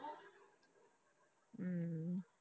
ਅਮ